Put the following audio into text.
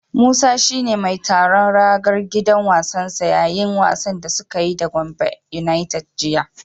Musa shi ne mai tsaron ragar gidan wasansa yayin wasan da suka yi da Gombe yunaited jiya.